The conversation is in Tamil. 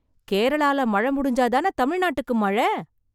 கேரளால மழ முடிஞ்சா தானே தமிழ்நாட்டுக்கு மழ.